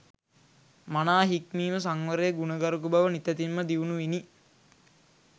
මනා හික්මීම සංවරය ගුණගරුක බව නිතැතින්ම දියුණු විණි